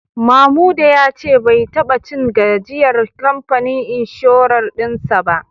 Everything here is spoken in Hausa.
Mamuda ya ce bai taba cin gajiyar kamfanin inshorar din sa ba